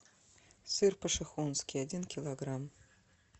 сыр пошехонский один килограмм